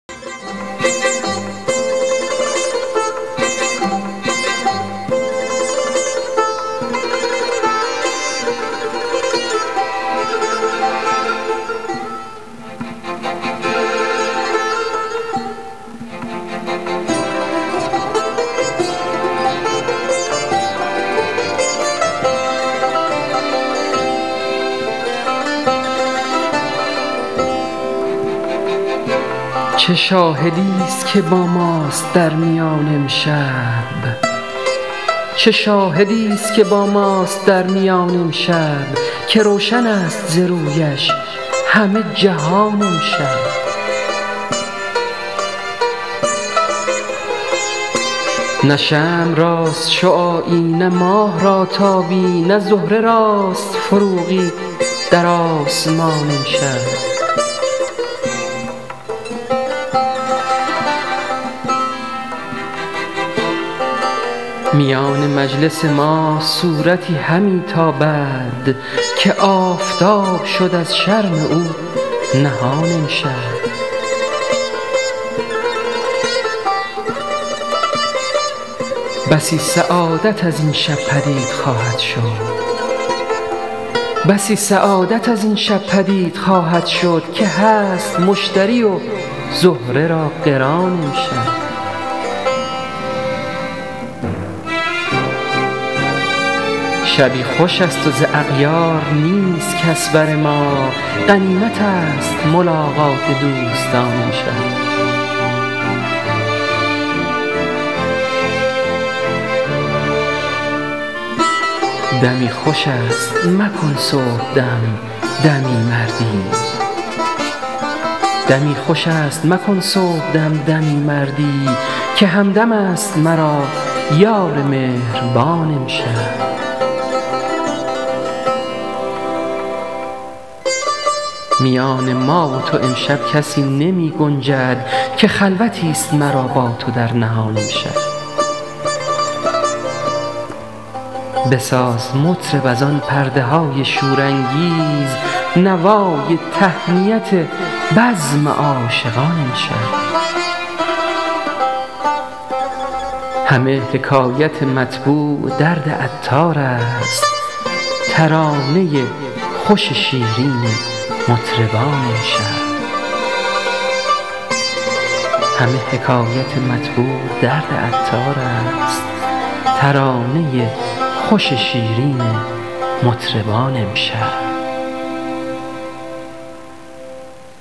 چه شاهدی است که با ماست در میان امشب که روشن است ز رویش همه جهان امشب نه شمع راست شعاعی نه ماه را تابی نه زهره راست فروغی در آسمان امشب میان مجلس ما صورتی همی تابد که آفتاب شد از شرم او نهان امشب بسی سعادت از این شب پدید خواهد شد که هست مشتری و زهره را قران امشب شبی خوش است و ز اغیار نیست کس بر ما غنیمت است ملاقات دوستان امشب دمی خوش است مکن صبح دم دمی سردی که همدم است مرا یار مهربان امشب میان ما و تو امشب کسی نمی گنجد که خلوتی است مرا با تو در نهان امشب بساز مطرب از آن پرده های شور انگیز نوای تهنیت بزم عاشقان امشب همه حکایت مطبوع درد عطار است ترانه خوش شیرین مطربان امشب